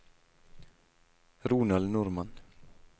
Ronald Normann